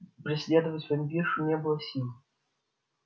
преследовать вампиршу не было сил